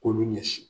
K'olu ɲɛsin